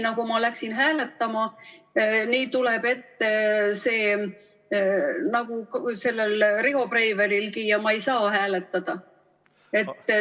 Kui ma hakkan hääletama, tuleb ette nagu Riho Breivelilgi, ja ma ei saa hääletada.